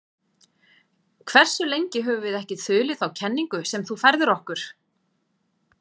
Hversu lengi höfum við ekki þulið þá kenningu sem þú færðir okkur?